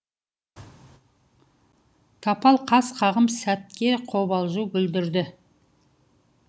тапал қас қағым сәтке қобалжу білдірді